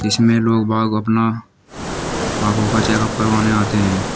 इसमें लोग बाग अपना आंखों का चेकअप करवाने आते हैं।